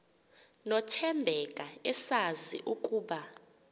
nothembeka esazi ukuba